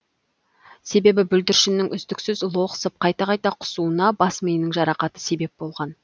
себебі бүлдіршіннің үздіксіз лоқсып қайта қайта құсуына бас миының жарақаты себеп болған